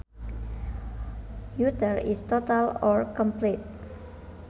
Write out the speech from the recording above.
Utter is total or complete